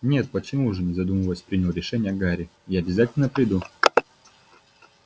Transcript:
нет почему же не задумываясь принял решение гарри я обязательно приду